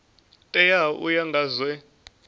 teaho u ya nga zwe